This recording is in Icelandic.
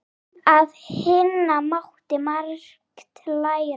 Af Hinna mátti margt læra.